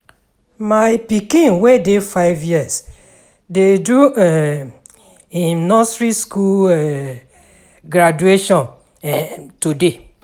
My pikin wey dey five years dey do um im nursery skool um graduation um today.